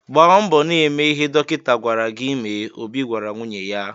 "Gbaa mbọ na-eme ihe dọkịta gwara gị mee," Obi gwara nwunye ya.